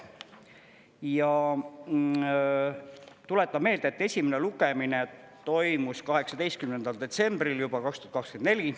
Ja tuletan meelde, et esimene lugemine toimus 18. detsembril 2024.